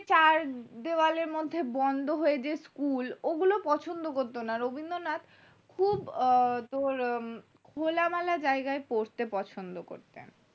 চার দেওয়ালের মধ্যে বন্ধ হয়ে যে school ওগুলো পছন্দ করতো না রবীন্দ্রনাথ আহ তোর খোলা মেলা জায়গায় পড়তে পছন্দ করতেন